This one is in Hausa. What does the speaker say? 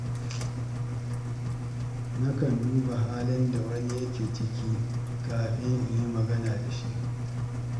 Nakan duba halin da wani yake ciki kafin in yi magana da shi.